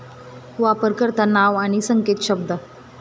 वापरकर्तानाव आणि संकेतशब्द